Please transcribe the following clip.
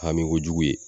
Hami kojugu ye